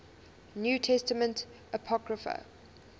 new testament apocrypha